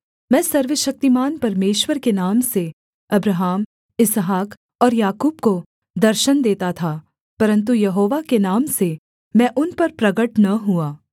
मैं सर्वशक्तिमान परमेश्वर के नाम से अब्राहम इसहाक और याकूब को दर्शन देता था परन्तु यहोवा के नाम से मैं उन पर प्रगट न हुआ